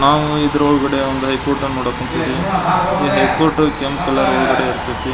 ನಾವು ಇದರ ಒಳಗಡೆ ಹೈ ಕೋರ್ಟ್ ನೋಡಕ್ ಹೊಂಟಿವಿ ಈ ಹೈ ಕೋರ್ಟ್ ಕೆಂಪ್ ಕಲರ್ ಒಳಗಡೆ ಇರತೈತ್ರಿ.